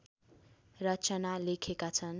रचना लेखेका छन्